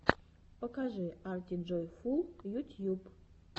покажи артиджойфул ютьюб